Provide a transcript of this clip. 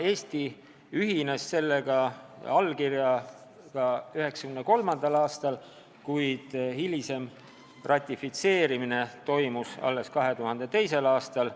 Eesti ühines sellega 1993. aastal, kuid ratifitseerimine toimus alles 2002. aastal.